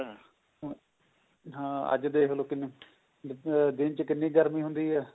ਹਾਂ ਅੱਜ ਦੇਖਲੋ ਕਿੰਨੀ ਦਿਨ ਚ ਕਿੰਨੀ ਗਰਮੀ ਹੁੰਦੀ ਹੈ